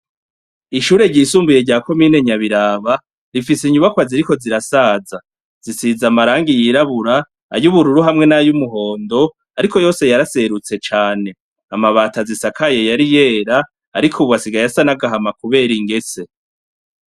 Ishure ryisumbuye rya ko minenyabiraba rifise inyubakw ziri ko zirasaza zisiza amarangi yirabura ayubururu hamwe n'ayo umuhondo, ariko yose yaraserutse cane amabata zisakaye yari yera, ariko ubuwasiga yasan'agahama, kubera ingese.